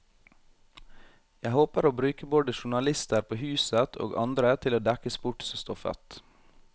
Jeg håper å bruke både journalister på huset, og andre til å dekke sportsstoffet.